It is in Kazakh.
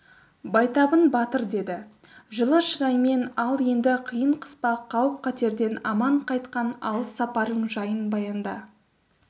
байтабын батыр деді жылы шыраймен ал енді қиын-қыспақ қауіп-қатерден аман қайтқан алыс сапарың жайын баянда